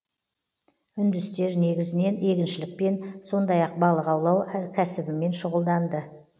үндістер негізінен егіншілікпен сондай ақ балық аулау кәсібімен шұғылданды